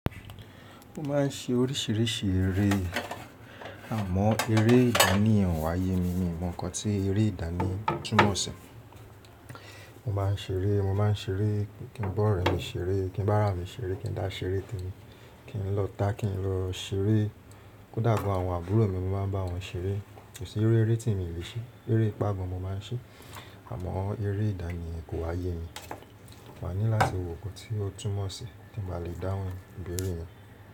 Ó máa ń ṣe oríṣiríṣi eré àmọ́ eré ìdánì yen o wà ye mi mi mo ǹnkan tí eré ìdánì túmọ̀ sí. Mo má ń ṣeré, mo má ń ṣeré, kí n bá ọ̀rẹ́ mi ṣeré, kí n bá ara mi ṣeré, kí n dá ṣeré ti mi, kí n lọ tá, kí n lọ ṣeré. Kódà gan àwọn àbúrò mi mo máa ń bá wọn ṣeré. Kò sí iru eré tí èmi ò le ṣe, eré ipá go n mo máa ń ṣe àmọ́ eré ìdánì kò ha ye mi. Mo máa ní láti wo nnkan tí ó túmọ̀ sí kí n ba lè dáhùn ìbéèrè yẹn.